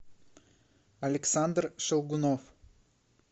александр шелгунов